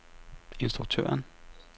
instruktøren